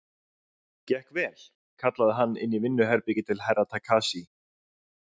Gekk vel, kallaði hann inn í vinnuherbergið til Herra Takashi.